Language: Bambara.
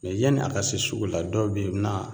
yani a ka se sugu la dɔw be ye u bi na